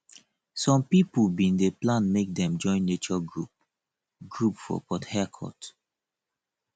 some pipo bin dey plan make dem join nature group group for port harecourt